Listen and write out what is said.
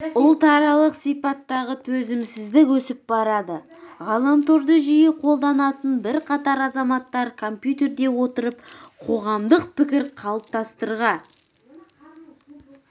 ұлтаралық сипаттағы төзімсіздік өсіп барады ғаламторды жиі қолданатын бірқатар азаматтар компьютерде отырып қоғамдық пікір қалыптастырға